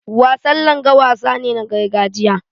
Wasan Langa wasa ne na gargajiya.